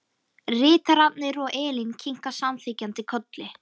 Ritararnir og Elín kinka samþykkjandi kolli.